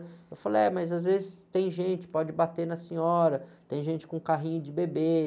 Eu falo, é, mas às vezes tem gente, pode bater na senhora, tem gente com carrinho de bebê.